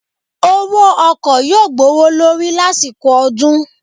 Owó ọkọ yóò gbówó lórí lásìkò ọdún